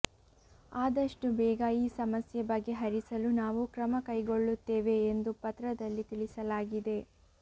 ಆದಷ್ಟು ಬೇಗ ಈ ಸಮಸ್ಯೆ ಬಗೆಹರಿಸಲು ನಾವು ಕ್ರಮ ಕೈಗೊಳ್ಳುತ್ತೇವೆ ಎಂದು ಪತ್ರದಲ್ಲಿ ತಿಳಿಸಲಾಗಿದೆ